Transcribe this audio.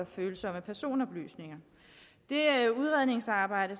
følsomme personoplysninger det udredningsarbejde